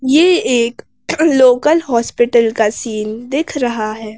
ये एक local hospital का सीन दिख रहा है।